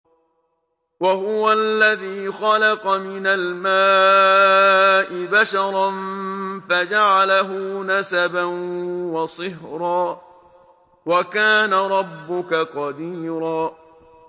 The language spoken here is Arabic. وَهُوَ الَّذِي خَلَقَ مِنَ الْمَاءِ بَشَرًا فَجَعَلَهُ نَسَبًا وَصِهْرًا ۗ وَكَانَ رَبُّكَ قَدِيرًا